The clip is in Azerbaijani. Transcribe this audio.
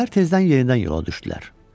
Səhər tezdən yerindən yola düşdülər.